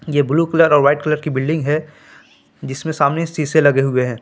ये blue colour और white colour की बिल्डिंग है जिसमें सामने शीशे लगे हुए हैं।